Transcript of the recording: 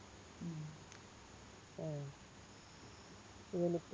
ഉം ആഹ് നിനക്ക്